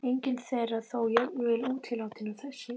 Engin þeirra þó jafn vel útilátin og þessi.